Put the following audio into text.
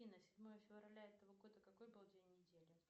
афина седьмое февраля этого года какой был день недели